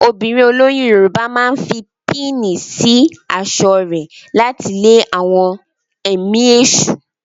Obìnrin olóyún Yorùbá máa fi píìnì sí aṣọ rẹ̀ láti lé àwọn ẹ̀mí èṣù.